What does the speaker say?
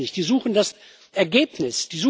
Ich glaube das nicht, sie suchen das Ergebnis.